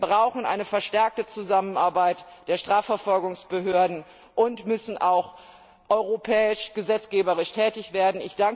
Wir brauchen eine verstärkte Zusammenarbeit der Strafverfolgungsbehörden und müssen auch auf europäischer Ebene gesetzgeberisch tätig werden.